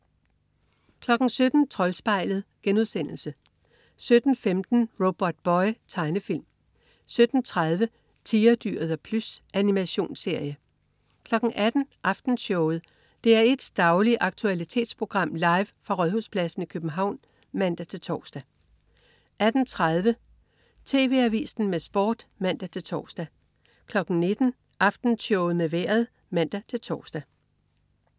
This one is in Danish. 17.00 Troldspejlet* 17.15 Robotboy. Tegnefilm 17.30 Tigerdyret og Plys. Animationsserie 18.00 Aftenshowet. DR1s daglige aktualitetsprogram, live fra Rådhuspladsen i København (man-tors) 18.30 TV Avisen med Sport (man-tors) 19.00 Aftenshowet med vejret (man-tors)